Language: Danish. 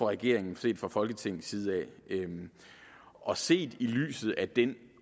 regeringen set fra folketingets side og set i lyset af den